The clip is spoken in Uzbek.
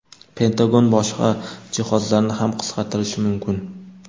Pentagon boshqa jihozlarni ham qisqartirishi mumkin.